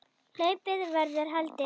Hlaupið verður haldið.